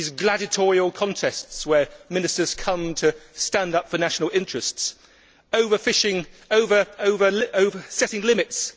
These are gladiatorial contests where ministers come to stand up for national interests, over fishing and setting limits.